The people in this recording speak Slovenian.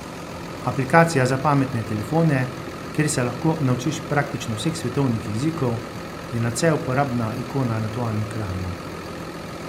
Aplikacija za pametne telefone, kjer se lahko naučiš praktično vseh svetovnih jezikov je nadvse uporabna ikona na tvojem ekranu.